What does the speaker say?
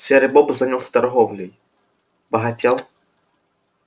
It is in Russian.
серый бобр занялся торговлей богател